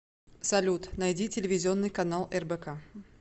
салют найти телевизионный канал рбк